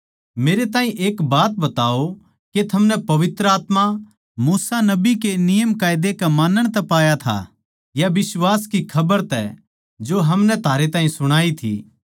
मेरे ताहीं एक बात बताओ के थमनै पवित्र आत्मा मूसा नबी के नियमकायदा के मानण तै पाया था या बिश्वास की खबर तै जो हमनै थारे ताहीं सुणाई थी